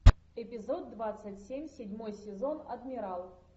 эпизод двадцать семь седьмой сезон адмирал